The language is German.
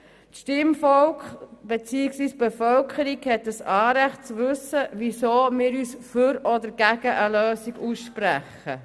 Das Stimmvolk bzw. die Bevölkerung hat ein Anrecht zu wissen, wieso wir uns für oder gegen eine Lösung aussprechen.